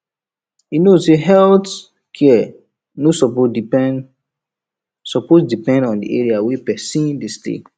you know say health care no suppose depend suppose depend on the area wey person dey stay